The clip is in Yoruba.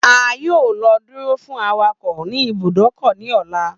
A yoo lọ duro fun awakọ ni ibùdókò ni ọla.